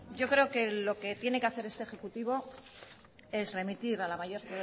yo creo que lo que tiene que hacer este ejecutivo es remitir a la mayor